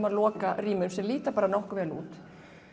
að loka rýmum sem líta bara nokkuð vel út